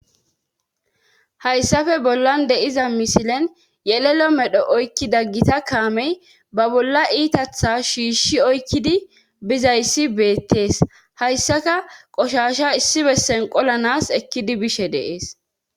hayssafe bollan deiza misilen yelelo medho oykkida gita kaamey ba bolla iitatha shiishi oykkidi bizayssi beettees hayssaka qoshasha issi bessen qolanas ekkidi bishe dee,es